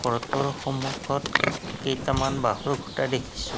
ঘৰটোৰ সন্মুখত কেইটামান বাঁহৰ খুঁটা দেখিছোঁ।